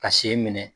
Ka sen minɛ